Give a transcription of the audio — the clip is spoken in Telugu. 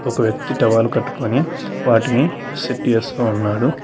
ఒక వ్యక్తి టవల్ కట్టుకొని వాటిని సెడ్డి చేస్తా ఉన్నాడు.